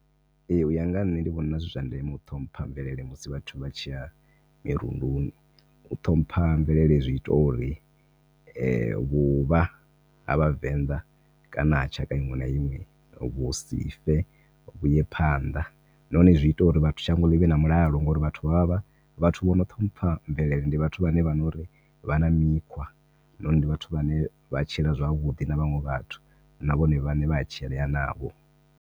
Ehe uya nga ṋne ndi vhona zwi zwa ndeme u ṱhompha mvelele musi vhathu vha tshiya mirunduni. U ṱhompha mvelele zwi ita uri vhuvha ha vhavenḓa kana tshaka iṅwe na iṅwe vhusi fe vhuye phanḓa na hone zwi ita uri shango ḽi vhe na mulalo ngauri vhathu vhono ṱhompha mvelele ndi vhathu vho nori vha na mikhwa , ndi vhathu vhane vha tshila zwavhuḓi na vhaṅwe na vhone vhaṋe vhaya tshilea navho.